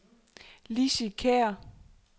Lizzie Kjær